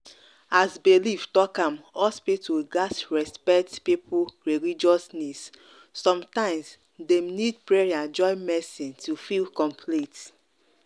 as belief talk am hospital gats respect people religious needs. sometimes dem need prayer join medicine to feel complete.